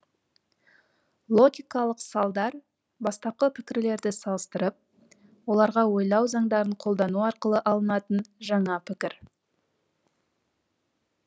логикалық салдар бастапқы пікірлерді салыстырып оларға ойлау заңдарын қолдану арқылы алынатын жаңа пікір